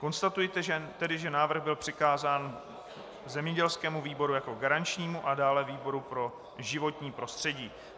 Konstatuji tedy, že návrh byl přikázán zemědělskému výboru jako garančnímu a dále výboru pro životní prostředí.